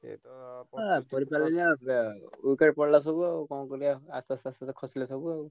ଆ ଖେଳିପାରିଲାଣି ଆ wicket ପଳେଇଲା ସବୁ ଆଉ କଣ କରିଆ ଆସ୍ତେ ଆସ୍ତେ ସବୁ ଖସିଲେ ସବୁ ଆଉ।